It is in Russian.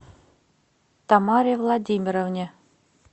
тамаре владимировне